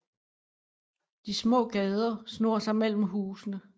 De små gader snor sig mellem husene